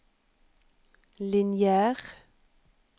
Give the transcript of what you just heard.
lineær